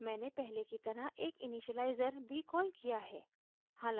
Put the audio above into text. मैंने पहले की तरह एक initializer भी कॉल किया है